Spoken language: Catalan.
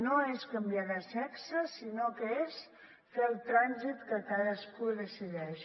no és canviar de sexe sinó que és fer el trànsit que cadascú decideix